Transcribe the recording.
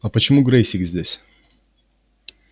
а почему грэйсик здесь